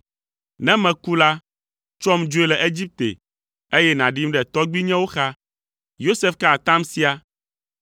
Ne meku la, tsɔm dzoe le Egipte, eye nàɖim ɖe tɔgbuinyewo xa.” Yosef ka atam sia.